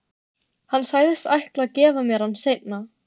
Hann sagðist ætla að gefa mér hann seinna.